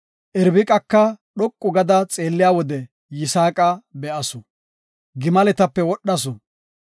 Irbiqaka dhoqu gada xeelliya wode, Yisaaqa be7asu; gimaletape wodhasu.